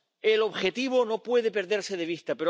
El objetivo no puede perderse de vista.